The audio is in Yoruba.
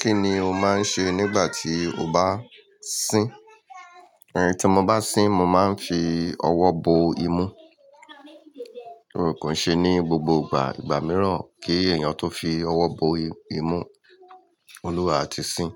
Kí ni o máa ń ṣe nígbà tí o bá sín? Ehn tí mo bá sín, mo máa ń fi ọwọ́ bo imú. Kò ṣe ní gbogbo ìgbà, ìgbà mìíràn kí èèyàn tó fi ọwọ́ bo imú, Olúwa ti sín.